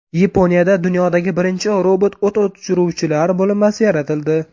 Yaponiyada dunyodagi birinchi robot o‘t o‘chiruvchilar bo‘linmasi yaratildi.